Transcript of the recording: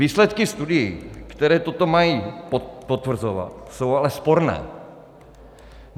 Výsledky studií, které toto mají potvrzovat, jsou ale sporné.